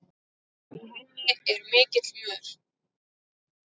Í henni er mikill mör.